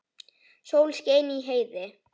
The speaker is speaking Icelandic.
Sól skein í heiði.